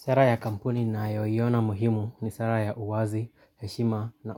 Sera ya kampuni ninayoyiona muhimu ni sera ya uwazi, heshima na